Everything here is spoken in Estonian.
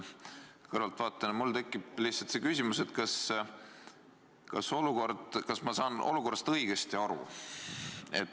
Kõrvaltvaatajana mul tekib lihtsalt küsimus, kas ma saan olukorrast õigesti aru.